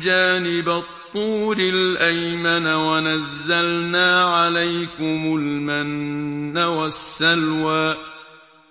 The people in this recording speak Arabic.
جَانِبَ الطُّورِ الْأَيْمَنَ وَنَزَّلْنَا عَلَيْكُمُ الْمَنَّ وَالسَّلْوَىٰ